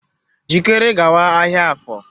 Jikere gawa ahịa Afor!